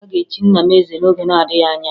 A ga-echi nna m eze n'oge na-adịghị anya